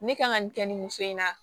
Ne kan ka nin kɛ nin muso in na